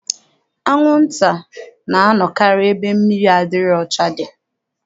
Anwụnta na-anọkarị ebe mmiri adịghị ọcha dị.